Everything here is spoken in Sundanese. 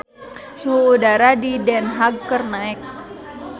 Suhu udara di Den Haag keur naek